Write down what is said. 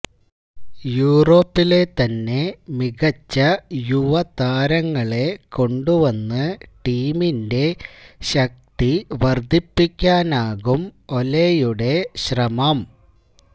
യൂറോപ്പിലെ തന്നെ മികച്ച യുവതാരങ്ങളെ കൊണ്ടുവന്ന് ടീമിന്റെ ശക്തി വർദ്ധിപ്പിക്കാനാകും ഒലെയുടെ ശ്രമം